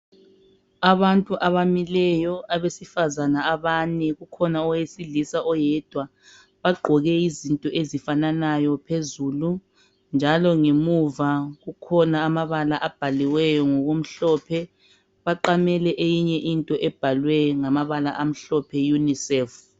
Abantu abamileyo ,abasifazane abane, kukhona owesilisa oyedwa ,bagqoke izikipa ezifananayo phezulu njalo ngemuva kukhona amabala abhaliweyo ngokumhlophe baqamele eyinye into ebhalwe ngamabala amhlophe unicef